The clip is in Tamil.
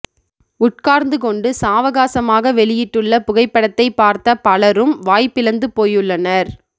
உட்கார்ந்து கொண்டு சாவகாசமாக வெளியிட்டுள்ள புகைப்படத்தை பார்த்த பலரும் வாய்பிளந்து போயுள்ளனர்